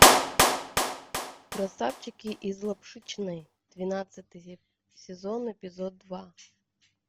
красавчики из лапшичной двенадцатый сезон эпизод два